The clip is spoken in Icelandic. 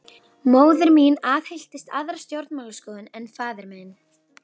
Móðir mín aðhylltist aðra stjórnmálaskoðun en faðir minn.